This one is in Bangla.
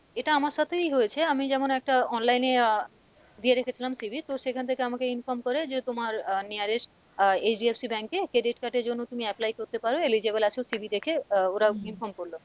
এটা আমার সাথেই হয়েছে আমি যেমন একটা online এ আহ দিয়ে রেখেছিলাম CV তো সেখান থেকে আমাকে inform করে যে তোমার আহ nearest আহ HDFC bank এ credit card এর জন্য তুমি apply করতে পারো eligible আছো CV দেখে আহ ওরা inform করলো,